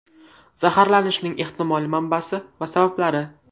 Zaharlanishning ehtimoliy manbasi va sabablari.